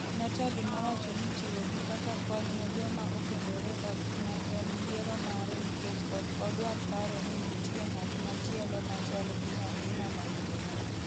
Natali nowacho ni chiwo gi kaka kony ne joma okendore ok ne en yiero mare nikech ok odwar paro ni nitie “ng’at machielo ma chal gi nyathina mawuoyi''